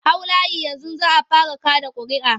Hau layi yanzu za a fara kaɗa ƙuria'a!